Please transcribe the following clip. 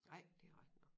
Nej det rigtig nok